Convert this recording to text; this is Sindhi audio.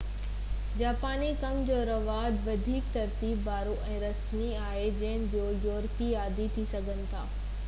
جاپاني ڪم جو رواج وڌيڪ ترتيب وارو ۽ رسمي آهي جنهن جو يورپي عادي ٿي سگهن ٿا